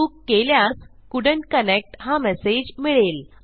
चूक केल्यास couldn't connect हा मेसेज मिळेल